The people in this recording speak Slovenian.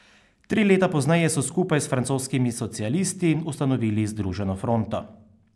Tri leta pozneje so skupaj s francoskimi socialisti ustanovili združeno fronto.